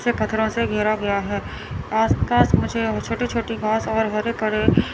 इसे पत्थरों से घेरा गया है आसपास मुझे छोटी छोटी घास और हरे भरे--